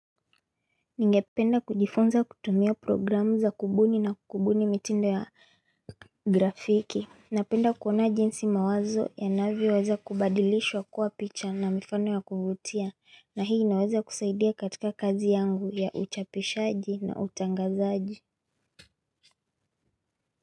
Ningependa kujifunza kutumia, programu za kubuni na kubuni mitindo ya graphic. Napenda kuona jinsi mawazo yanavyo weza kubadilishwa kuwa picha na mifano ya kuvutia. Na hii naweza kusaidia katika kazi yangu ya uchapishaji na utangazaji.